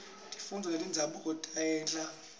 tifundvo tenzabuko tiyaheha